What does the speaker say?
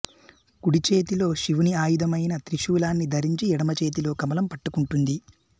కుడిచేతిలో శివుని ఆయుధమైన త్రిశూలాన్ని ధరించి ఎడమచేతిలో కమలం పట్టుకుంటుంది